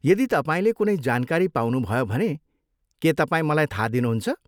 यदि तपाईँले कुनै जानकारी पाउनुभयो भने के तपाईँ मलाई थाहा दिनुहुन्छ?